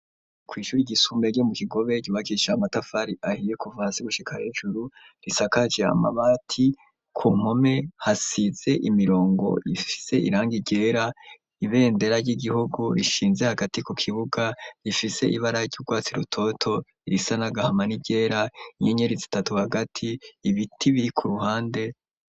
Kw'ishuru igisumberye mu kigobe ryubakisha matafari ahiye kuvasi gushika hejuru risakajeamabati ku mpome hasize imirongo ifise iranga iryera ibendera ry'igihugu rishinze hagati ku kibuga rifise ibara ry'urwatsi rutoto irisa na gahama n'iryera inyenyeresi itatu hagati ibiti biri ku ruhande.